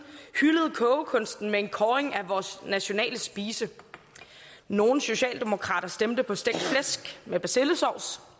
hyldede kogekunsten med en kåring af vores nationale spise nogle socialdemokrater stemte på stegt flæsk med persillesovs